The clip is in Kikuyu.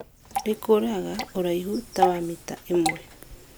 rĩkũraga ũraihu tawa mita ĩmwe.